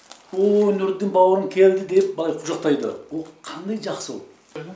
ооо нұрдың бауырын келді деп былай құшақтайды ол қандай жақсы ол